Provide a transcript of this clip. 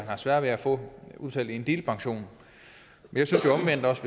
har sværere ved at få udbetalt en delpension jeg synes jo omvendt også